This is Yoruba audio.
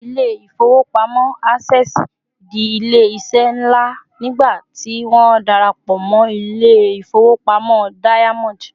ilé ifowopamọ access di ilé iṣẹ nla nigba tí won darapo mo ilé ifowopamọ diamond